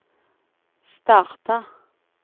starta